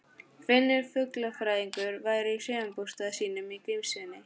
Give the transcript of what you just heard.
Finnur fuglafræðingur væri í sumarbústað sínum í Grímsnesi.